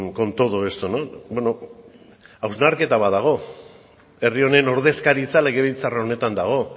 con todo esto beno hausnarketa bat dago herri honen ordezkaritza legebiltzar honetan dago